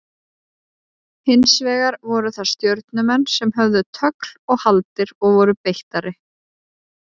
Hins vegar voru það Stjörnumenn sem höfðu tögl og haldir og voru beittari.